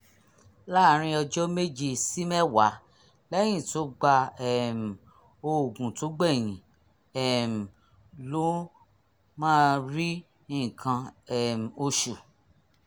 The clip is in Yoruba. láàárín ọjọ́ méje sí mẹ́wàá lẹ́yìn tó gba um òògùn tó gbẹ̀yìn um ló máa rí nǹkan um oṣù